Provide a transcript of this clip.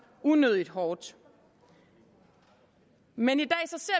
unødigt hårdt men